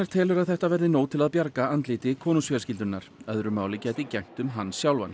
telur að þetta verði nóg til að bjarga andliti konungsfjölskyldunnar öðru máli gæti gegnt um hann sjálfan